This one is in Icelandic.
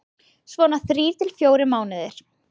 Svona þrír til fjórir mánuðir.